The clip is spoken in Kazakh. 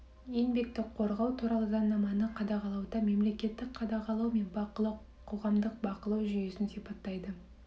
еңбекті қорғау туралы заңнаманы қадағалауда мемлекеттік қадағалау мен бақылау қоғамдық бақылау жүйесін сипаттайды